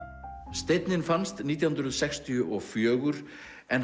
steinninn fannst nítján hundruð sextíu og fjögur en